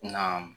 Na